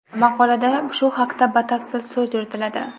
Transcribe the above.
Maqolada shu haqda batafsil so‘z yuritiladi.